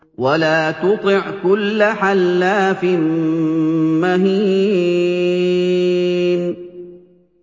وَلَا تُطِعْ كُلَّ حَلَّافٍ مَّهِينٍ